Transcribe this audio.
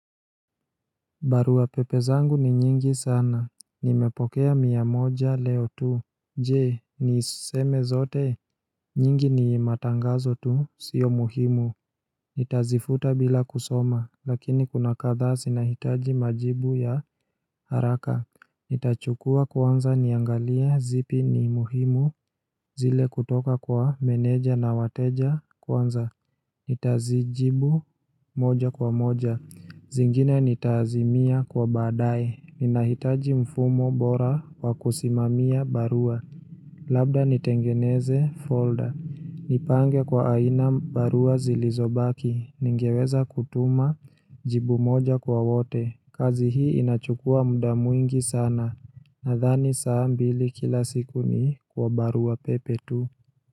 Barua pepe zangu ni nyingi sana. Nimepokea mia moja leo tu. Je, niziseme zote? Nyingi ni matangazo tu, sio muhimu. Nitazifuta bila kusoma, lakini kuna kadhaa zinahitaji majibu ya haraka. Nitachukua kwanza niangalie zipi ni muhimu zile kutoka kwa meneja na wateja kwanza. Nitazijibu moja kwa moja. Zingine nitaazimia kwa badaaye, ninahitaji mfumo bora kwa kusimamia barua Labda nitengeneze folder, nipange kwa aina barua zilizobaki. Ningeweza kutuma jibu moja kwa wote. Kazi hii inachukua muda mwingi sana, nadhani saa mbili kila siku ni kwa barua pepe tu.